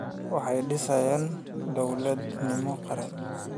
Waxay dhiseen dawlad midnimo qaran.